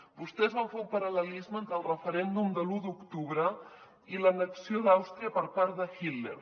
vostès van fer un paral·lelisme entre el referèndum de l’un d’octubre i l’annexió d’àustria per part de hitler